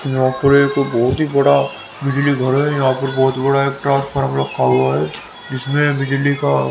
यहां पर एक बहुत ही बड़ा बिजली घर है यहां पर बहुत बड़ा ट्रांसफार्मर रखा हुआ है इसमें बिजली का--